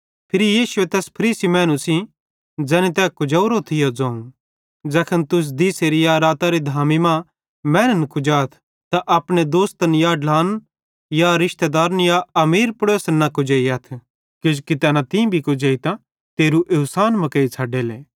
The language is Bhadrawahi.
फिरी यीशुए तैस फरीसी मैनू सेइं ज़ैनी तै कुजोरो थियो ज़ोवं ज़ैखन तुस दिसेरी या रातरी धामी मां मैनन् कुजाथ त अपने दोस्तन या ढ्लान रिशतेदारन या अपने अमीर पड़ोसन न कुजेइयथ किजोकि तैना भी तीं कुजेइतां तेरू एवसान मुकेइ छ़डेले